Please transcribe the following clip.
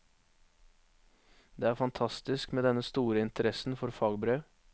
Det er fantastisk med den store interessen for fagbrev.